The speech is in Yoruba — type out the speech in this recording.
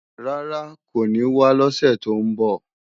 Rárá, kò ní wá lọ́sè tó ń bọ̀.